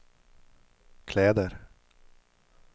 kläder